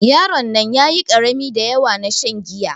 Yaron nan ƴaƴi karami daƴawa na shan giya.